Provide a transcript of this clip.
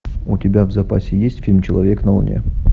у тебя в запасе есть фильм человек на луне